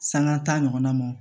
Sanŋa taa ɲɔgɔnna mɔn